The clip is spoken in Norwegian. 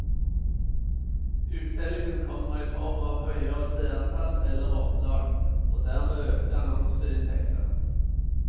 Uttellingen kommer i form av høyere seertall eller opplag, og dermed økte annonseinntekter.